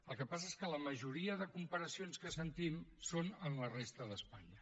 el que passa és que la majoria de comparacions que sentim són amb la resta d’espanya